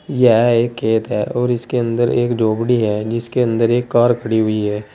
यह एक खेत है और इसके अंदर एक झोपड़ी है जिसके अंदर एक कार खड़ी हुई है।